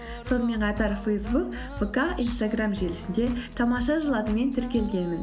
сонымен қатар фейсбук вк инстаграм желісінде тамаша жыл атымен тіркелгенмін